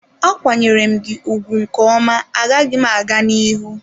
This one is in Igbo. A kwanyere m gị ugwu nke ọma, agaghị m aga n'ihu.